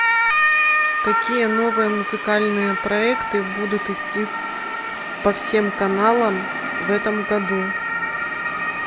какие новые музыкальные проекты будут идти по всем каналам в этом году